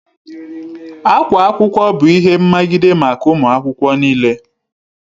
Akwa akwụkwọ bụ ihe mmagide maka ụmụ akwụkwọ n'ile